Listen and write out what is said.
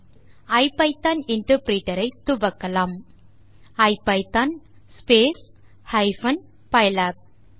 இப்போது IPython interpreter ஐ கட்டளை ஐபிதான் ஹைபன் பைலாப் ஆல் துவக்கவும்